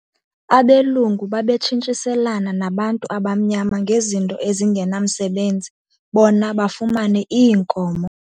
Abelungu babetshintshiselana nabantu abamnyama ngezinto ezingenamsebenzi bona bafumane iinkomo.